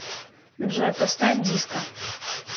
джой поставь диско